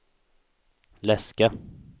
läska